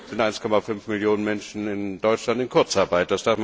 sind 1,5 Millionen Menschen in Deutschland in Kurzarbeit.